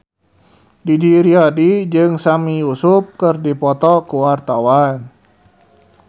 Didi Riyadi jeung Sami Yusuf keur dipoto ku wartawan